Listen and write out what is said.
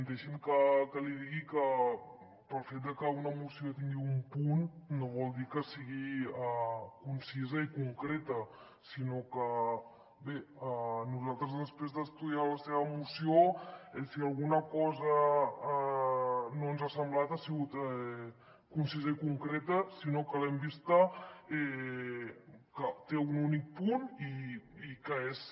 deixi’m que li digui que pel fet de que una moció tingui un punt no vol dir que sigui concisa i concreta sinó que bé nosaltres després d’estudiar la seva moció si alguna cosa no ens ha semblat ha sigut concisa i concreta sinó que l’hem vista que té un únic punt i que és